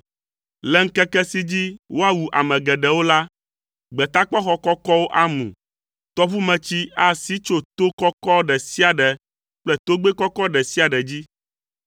Le ŋkeke si dzi woawu ame geɖewo la, gbetakpɔxɔ kɔkɔwo amu; tɔʋumetsi asi tso to kɔkɔ ɖe sia ɖe kple togbɛ kɔkɔ ɖe sia ɖe dzi.